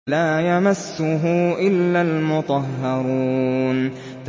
لَّا يَمَسُّهُ إِلَّا الْمُطَهَّرُونَ